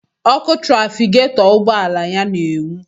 Ọkụ trafiketọ ugbọala ya na-enwu.